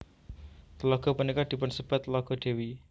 Tlaga punika dipunsebat Tlaga Dewi